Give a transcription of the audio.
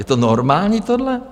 Je to normální tohle?